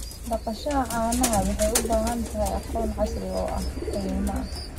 Dhaqashada caanaha waxay u baahan tahay aqoon casri ah oo qadiimi ah.